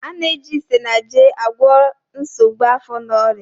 A na-eji Isanaje agwọ nsogbu afọ na ọrịa.